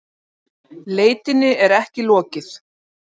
Leitinni er ekki lokið